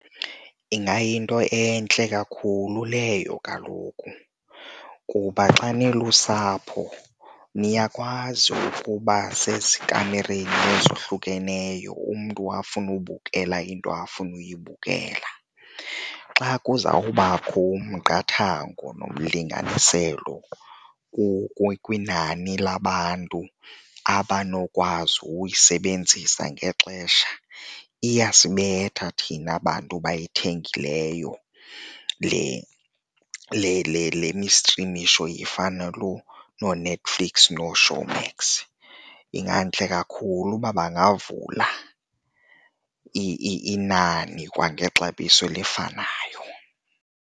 Ingayinto entle kakhulu leyo kaloku kuba xa nilusapho niyakwazi ukuba sezikamereni ezohlukeneyo umntu afune ubukela into afuna uyibukela. Xa kuzawubakho umqathango nomlinganiselo kwinani labantu abanokwazi ukuyisebenzisa ngexesha, iyasibetha thina bantu bayithengileyo le le le mistrimisho ifana nooNetflix nooShowmax. Ingantle kakhulu uba bangavula inani kwangexabiso elifanayo.